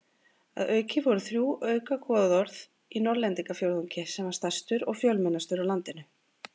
Að auki voru þrjú auka goðorð í Norðlendingafjórðungi sem var stærstur og fjölmennastur á landinu.